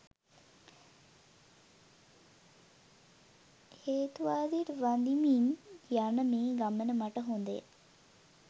හේතුවාදයට වඳිමින් යන මේ ගමන මට හොඳය